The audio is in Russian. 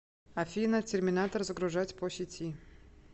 афина терминатор загружать по сети